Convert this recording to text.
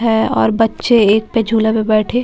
है और बच्चे एक पे झूला पे बैठे --